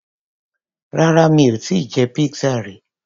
Rárá mi ò tíì jẹ pizza rí.